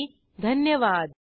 सहभागासाठी धन्यवाद